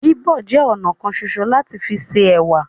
Bíbọ̀ jẹ ọnà kan ṣoṣo lati fi se ẹwà.